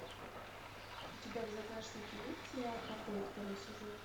у тебя в загашнике есть сериал покои второй сезон